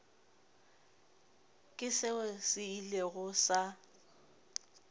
ke seo se ilego sa